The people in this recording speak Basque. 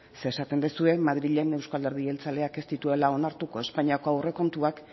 ze esaten duzue madrilen euzko alderdi jeltzaleak ez dituela onartuko espainiako aurrekontuak